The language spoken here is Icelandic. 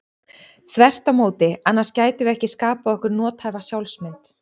Þvert á móti, annars gætum við ekki skapað okkur nothæfa sjálfsmynd.